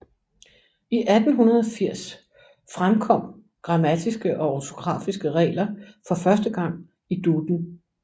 I 1880 fremkom grammatiske og ortografiske regler for første gang i Duden